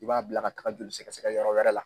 I b'a bila ka taga joli sɛgɛsɛgɛ yɔrɔ wɛrɛ la.